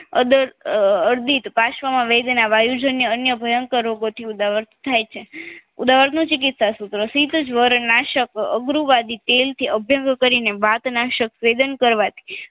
અદર અ અ અરદી પાશ્વમાં વેદના વાયુજન્ય અન્ય ભયંકર રોગો થી ઉદાવર થાય છે ઉદવારનું ચીકીત્સા સૂત્ર શિતજવર નાસક આગરૂવાદી તેલથી અ ભેગું કરીને વતન સંવેદન કરવાથી